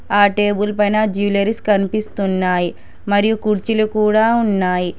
ఆ టేబుల్ పైన జ్యువలరీస్ కనిపిస్తున్నాయి మరియు కుర్చీలు కూడ ఉన్నాయి.